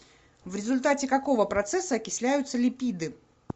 в результате какого процесса окисляются липиды